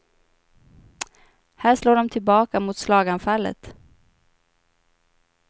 Här slår de tillbaka mot slaganfallet.